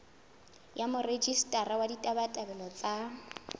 ya morejistara wa ditabatabelo tsa